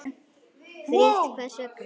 Frítt Hvers vegna?